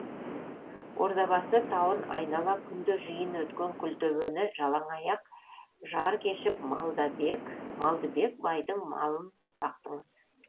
ордабасы тауын айнала күнде жиын өткен күлтөбені жалаңаяқ жар кешіп малдыбек байдың малын бақтыңыз